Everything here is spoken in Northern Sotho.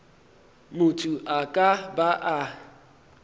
motho a ka ba a